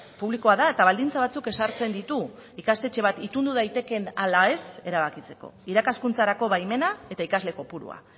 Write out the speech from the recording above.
publikoa da eta baldintza batzuk ezartzen ditu ikastetxe bat itundu daitekeen ala ez erabakitzeko irakaskuntzarako baimena eta ikasle kopurua